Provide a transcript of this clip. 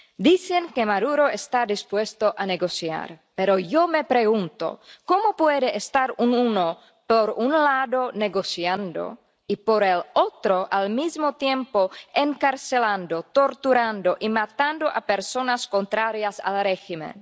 Dicen que Maduro está dispuesto a negociar, pero yo me pregunto cómo puede estar uno, por un lado, negociando y, por el otro, al mismo tiempo, encarcelando, torturando y matando a personas contrarias al régimen.